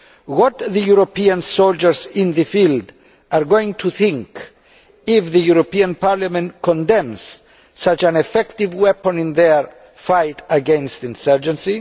What are the European soldiers in the field going to think if the European Parliament condemns such an effective weapon in their fight against insurgency?